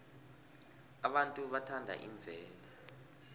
abantu bathanda imvelo